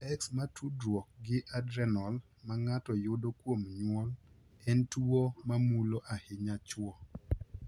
X ma tudruok gi adrenal ma ng’ato yudo kuom nyuol en tuwo ma mulo ahinya chwo.